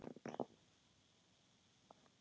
Hér er mín saga.